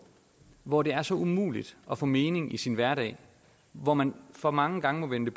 hvor det er så umuligt at få mening i sin hverdag hvor man for mange gange må vende